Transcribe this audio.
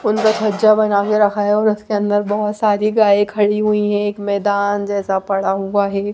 अंदर खजा बना के रखा है उसके अंदर बहुत सारी गाय खड़ी हुई है एक मैदान जैसा पड़ा हुआ है।